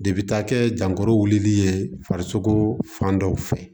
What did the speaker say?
De bi taa kɛ janko wulili ye farisoko fan dɔw fɛ